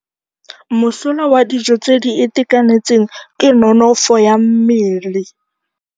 Mosola wa dijô tse di itekanetseng ke nonôfô ya mmele.